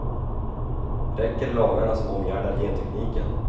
Räcker lagarna som omgärdar gentekniken?